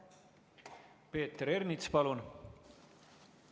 Peeter Ernits, palun!